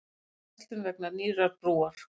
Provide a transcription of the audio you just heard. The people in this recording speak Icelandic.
Aukin verslun vegna nýrrar brúar